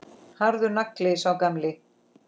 Harður nagli, sá gamli.